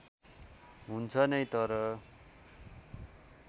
हुन्छ नै तर